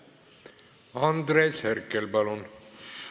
Andres Herkel, palun!